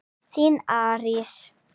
Þín Arís.